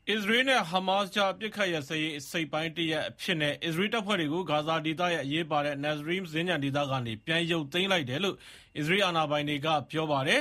အစ္စရေးနဲ့ ဟားမတ်စ်ကြား အပစ်အခတ်ရပ်စဲရေး အစိတ်အပိုင်းတရပ်အဖြစ်နဲ့ အစ္စရေးတပ်ဖွဲ့တွေကို ဂါဇာဒေသရဲ့ အရေးပါတဲ့ Netzarim စင်္ကြန်ဒေသကနေ ပြန်ရုတ်သိမ်းလိုက်တယ်လို့ အစ္စရေးအာဏာပိုင်တွေက ပြောပါတယ်